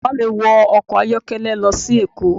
Bàbá mí wọ ọkọ̀ ayọ́kẹ́lẹ́ lọ sí èkó